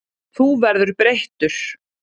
Þú verður breyttur.